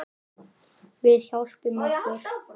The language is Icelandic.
Við hjálpum okkur.